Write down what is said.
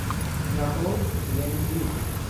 нарой я не ведьма